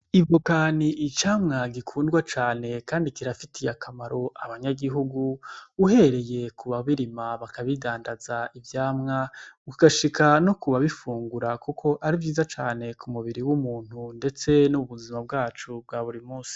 Ivoka ni icamwa gikundwa cane kandi kirafitiye akamaro abanyagihugu, uhereye ku babirima bakabidandaza ivyamwa ugashika no kubabifungura kuko ari vyiza cane ku mubiri w'umuntu ndetse no mu buzima bwacu bwa buri munsi.